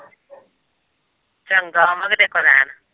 ਚੰਗਾ ਆਵਾਂਗੇ ਤੇਰੇ ਕੋਲ਼ ਰਹਿਣ।